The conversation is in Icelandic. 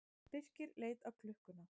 Birkir leit á klukkuna.